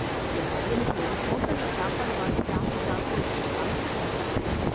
என் பையனுக்கு ஹோட்டல்ல சாப்பாடு வாங்கி சாப்பிட்டு சாப்பிட்டு அல்சர் வந்துடுச்சு.